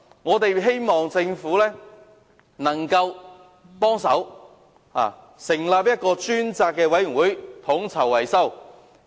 我們希望政府可以提供協助，成立專責委員會統籌維修工作。